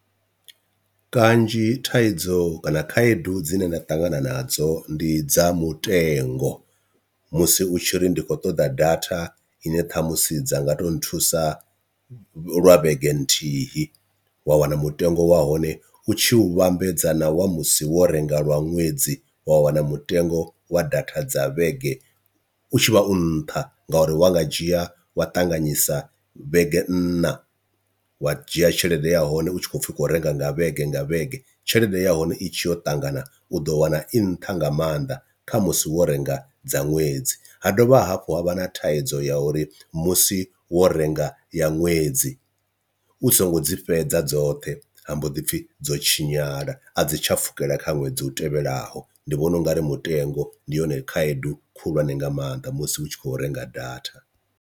Kanzhi thaidzo kana khaedu dzine nda ṱangana nadzo ndi dza mutengo, musi u tshi ri ndi khou ṱoḓa data ine ṱhamusi dza nga to nthusa lwa vhege nthihi wa wana mutengo wa hone u tshi u vhambedza na wa musi wo renga lwa ṅwedzi wa wana mutengo wa datha dza vhege u tshivha u nṱha, ngauri wa nga dzhia wa ṱanganyisa vhege nna u wa dzhia tshelede ya hone u tshi kho pfhi kho renga nga vhege nga vhege tshelede ya hone i tshi yo ṱangana u ḓo wana i nṱha nga maanḓa kha musi wo renga dza ṅwedzi. Ha dovha hafhu ha vha na thaidzo ya uri musi wo renga ya ṅwedzi u songo dzi fhedza dzoṱhe ha mbo ḓi pfhi dzo tshinyala a dzi tsha pfhukela kha ṅwedzi u tevhelaho, ndi vhona ungari mutengo ndi yone khaedu khulwane nga maanḓa musi u tshi kho renga data.